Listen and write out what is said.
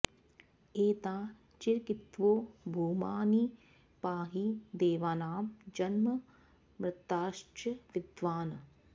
ए॒ता चि॑कित्वो॒ भूमा॒ नि पा॑हि दे॒वानां॒ जन्म॒ मर्ताँ॑श्च वि॒द्वान्